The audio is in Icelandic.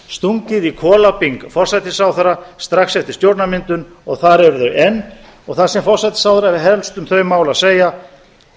stungið í kolabing forsætisráðherra strax eftir stjórnarmyndun og þar eru þau enn og það sem forsætisráðherra hefur helst um þau mál að segja